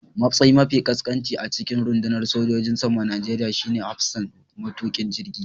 Matsayi mafi ƙasƙanci a cikin rundunar sojojin saman Najeriya shine hafsan matukin jirgi